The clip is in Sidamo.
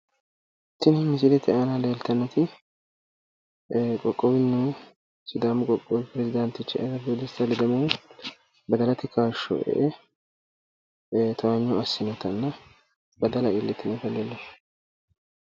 Tini misilete aana leeltannoti qoqqowunnihu sidaamu qoqqowi peresidaantichu ayyradu dessita ledamohu badalate kaashsho e"e towaanyo assinota badala iillitinota leellishanno.